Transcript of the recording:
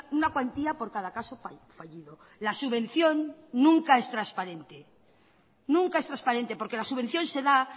una cuantía por cada caso fallido la subvención nunca es transparente nunca es transparente porque la subvención se da